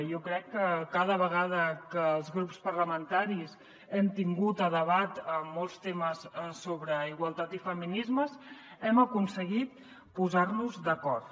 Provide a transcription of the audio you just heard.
jo crec que cada vegada que els grups parlamentaris hem tingut a debat molts temes sobre igualtat i feminismes hem aconseguit posar nos d’acord